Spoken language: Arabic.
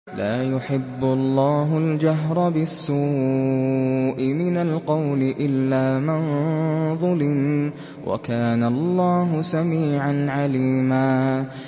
۞ لَّا يُحِبُّ اللَّهُ الْجَهْرَ بِالسُّوءِ مِنَ الْقَوْلِ إِلَّا مَن ظُلِمَ ۚ وَكَانَ اللَّهُ سَمِيعًا عَلِيمًا